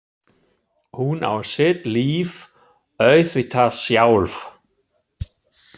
Hún á sitt líf auðvitað sjálf.